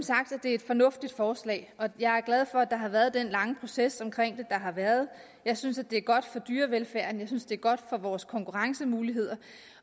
det er et fornuftigt forslag og jeg er glad for at der har været den lange proces der har været jeg synes det er godt for dyrevelfærden jeg synes det er godt for vores konkurrencemuligheder